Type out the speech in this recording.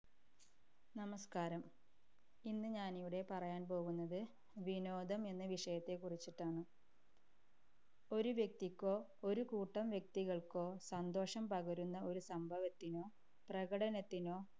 നമസ്കാരം, ഇന്ന് ഞാനിവിടെ പറയാന്‍ പോകുന്നത് വിനോദം എന്ന വിഷയത്തെ കുറിച്ചിട്ടാണ്. ഒരു വ്യക്തിക്കോ, ഒരു കൂട്ടം വ്യക്തികൾക്കോ സന്തോഷം പകരുന്ന ഒരു സംഭവത്തിനോ, പ്രകടനത്തിനോ,